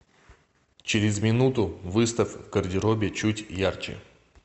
через минуту выставь в гардеробе чуть ярче